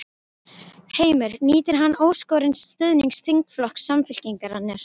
Heimir: Nýtur hann óskorins stuðnings þingflokks Samfylkingarinnar?